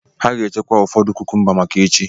Ha ga-echekwa ụfọdụ kukumba maka echi.